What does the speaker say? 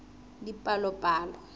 dipalopalo